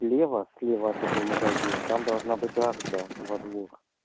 слева слева от этого магазина там должна быть арка во двор